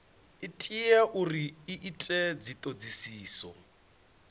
tea uri hu itwe dzithodisiso